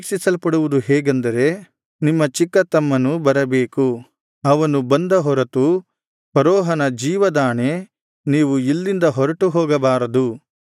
ನೀವು ಪರೀಕ್ಷಿಸಲ್ಪಡುವುದು ಹೇಗೆಂದರೆ ನಿಮ್ಮ ಚಿಕ್ಕ ತಮ್ಮನು ಬರಬೇಕು ಅವನು ಬಂದ ಹೊರತು ಫರೋಹನ ಜೀವದಾಣೆ ನೀವು ಇಲ್ಲಿಂದ ಹೊರಟು ಹೋಗಬಾರದು